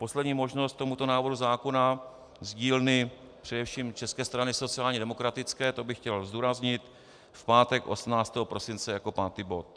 Poslední možnost tomuto návrhu zákona z dílny především České strany sociálně demokratické, to bych chtěl zdůraznit, v pátek 18. prosince jako pátý bod.